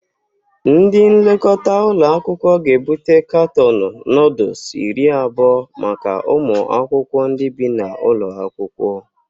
Ndị nlekọta ụlọakwụkwọ ga-ebute katọọnụ nọọdus iri abụọ maka ụmụ akwụkwọ ndị bi n'ụlọ akwụkwọ